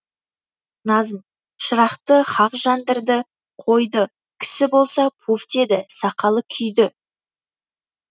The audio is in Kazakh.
назм шырақты хақ жандырды қойды кісі болса пув деді сақалы күйді